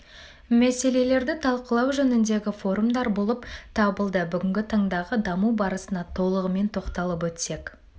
мәселелерді талқылау жөніндегі форумдар болып табылды бүгінгі таңдағы даму барысына толығымен тоқталып өтсек